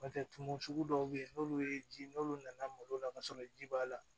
N'o tɛ tumu sugu dɔw bɛ yen n'olu ye ji n'olu nana malo la ka sɔrɔ ji b'a la